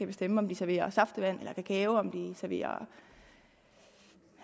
bestemme om de serverer saftevand eller kakao om de serverer